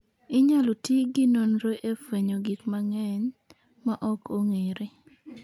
Inyalo tigi nonro e fwenyo gik mang'eny ma ok ong'ere.